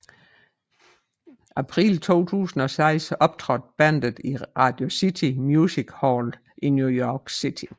April 2006 optrådte bandet i Radio City Music Hall i New York City